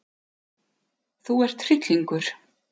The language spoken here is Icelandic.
Þú ert hryllingur!